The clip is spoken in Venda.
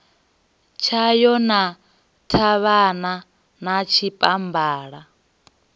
tshayo na ṱhavhana na tshipambala